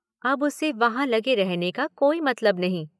अब उसे वहां लगे रहने का कोई मतलब नहीं।